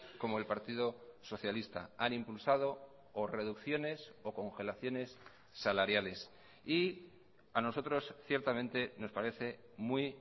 como el partido socialista han impulsado o reducciones o congelaciones salariales y a nosotros ciertamente nos parece muy